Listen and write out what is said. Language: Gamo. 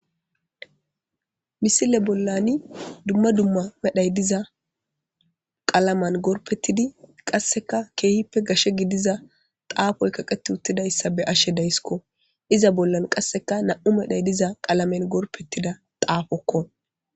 Misile bollani dumma dumma medhay diza qalaman gorpettidi qasseka keehippe gashe gidiza xaafoy kaqeti uttidayssa be ashe dayssikko iza bollan qasseka nam7u medhay diza qalamen gorpettida taafokko.